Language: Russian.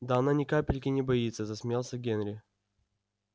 да она ни капельки не боится засмеялся генри